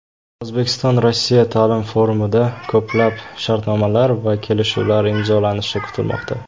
O‘zbekistonRossiya ta’lim forumida ko‘plab shartnoma va kelishuvlar imzolanishi kutilmoqda.